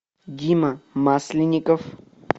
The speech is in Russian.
дима масленников